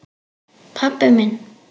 Pabbi minn?